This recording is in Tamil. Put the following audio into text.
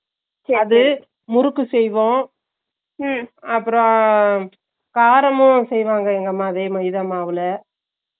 அது முறுக்கு செய்வோம் உம் அப்பறம் காரமும் செய்வாங்க எங்க அம்மா அதேமாதிரி மைதா மாவுல